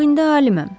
Ancaq indi aliməm.